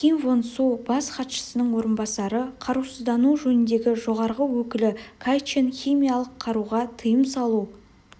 ким вон су бас хатшысының орынбасары қарусыздану жөніндегі жоғарғы өкілі кай чен химиялық қаруға тыйым салу